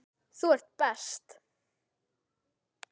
Þú ert best.